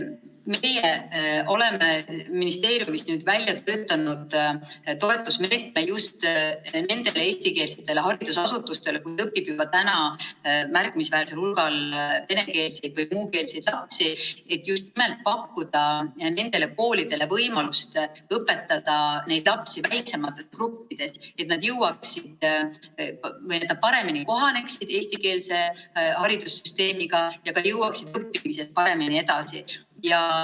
Meie oleme ministeeriumis välja töötanud toetusmeetme just nendele eestikeelsetele haridusasutustele, kus juba õpib märkimisväärsel hulgal venekeelseid või muukeelseid lapsi, et pakkuda nendele koolidele võimalust õpetada neid lapsi väiksemates gruppides, nii et nad paremini kohaneksid eestikeelse haridussüsteemiga ja jõuaksid ka õppimises paremini edasi.